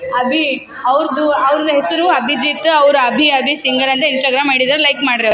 ಅಬೀ ಅವ್ದ ಅವ್ರುದು ಹೆಸರೂ ಅಬಿಜಿತ್ತು ಅವ್ರ ಅಭೀ ಅಭೀ ಸಿಂಗರ್ ಅಂತ ಇನ್ಸ್ಟಾಗ್ರಾಮ್ ಐ.ಡಿ ಇದ ಲೈಕ್ ಮಾಡ್ರಿ ಅವ್ರ .